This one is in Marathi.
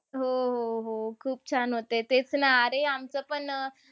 हो, हो, हो. खूप छान होते. तेच ना, अरे आमचं पण,